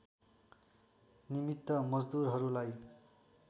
निमित्त मजदुरहरूलाई